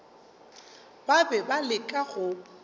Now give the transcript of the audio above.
ba be ba leka go